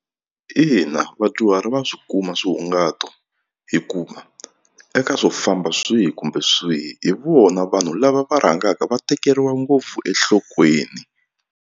Ina vadyuhari va swi kuma swihungato hikuva eka swo famba swihi kumbe swihi hi vona vanhu lava va rhangaka va tekeriwa ngopfu enhlokweni.